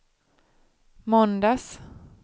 måndags